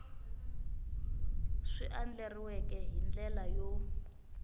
swi andlariweke hi ndlela yo